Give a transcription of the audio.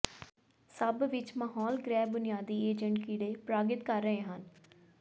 ਸਭ ਵਿੱਚ ਮਾਹੌਲ ਗ੍ਰਹਿ ਬੁਨਿਆਦੀ ਏਜੰਟ ਕੀੜੇ ਪਰਾਗਿਤ ਕਰ ਰਹੇ ਹਨ